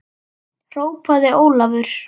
hrópaði Ólafur.